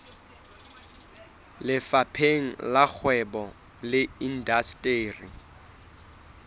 lefapheng la kgwebo le indasteri